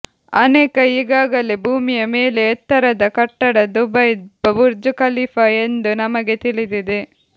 ಅನೇಕ ಈಗಾಗಲೇ ಭೂಮಿಯ ಮೇಲೆ ಎತ್ತರದ ಕಟ್ಟಡ ದುಬೈ ಬುರ್ಜ್ ಖಲೀಫಾ ಎಂದು ನಮಗೆ ತಿಳಿದಿದೆ